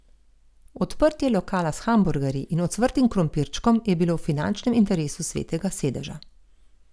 Odprtje lokala s hamburgerji in ocvrtim krompirčkom je bilo v finančnem interesu Svetega sedeža.